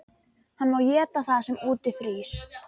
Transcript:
Hann má éta það sem úti frýs!